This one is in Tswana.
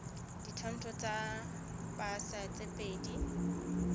ditshwantsho tsa pasa tse pedi